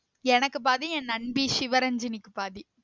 எனக்கு பாதி என் நண்பி சிவரஞ்சனிக்கு பாதி